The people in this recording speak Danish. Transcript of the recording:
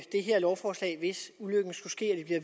her lovforslag hvis ulykken skulle ske